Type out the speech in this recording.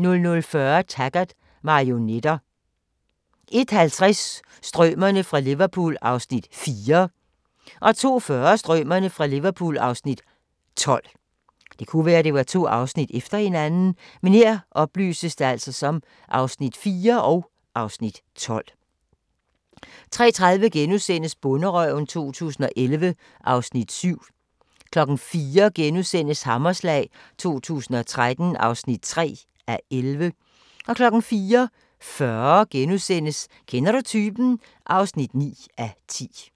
* 00:40: Taggart: Marionetter 01:50: Strømerne fra Liverpool (Afs. 4) 02:40: Strømerne fra Liverpool (Afs. 12) 03:30: Bonderøven 2011 (Afs. 7)* 04:00: Hammerslag 2013 (3:11)* 04:40: Kender du typen? (9:10)*